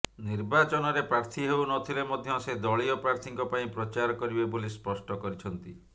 ନିର୍ବାଚନରେ ପ୍ରାର୍ଥୀ ହେଉ ନଥିଲେ ମଧ୍ୟ ସେ ଦଳୀୟ ପ୍ରାର୍ଥୀଙ୍କ ପାଇଁ ପ୍ରଚାର କରିବେ ବୋଲି ସ୍ପଷ୍ଟ କରିଛନ୍ତି